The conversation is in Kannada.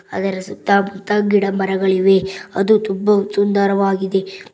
ಅದರ ಸುತ್ತ ಮುತ್ತ ಗಿಡ ಮರಗಳಿವೆ ಅದು ತುಂಬ ಸುಂದರವಾಗಿದೆ.